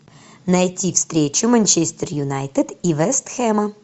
найти встречу манчестер юнайтед и вест хэма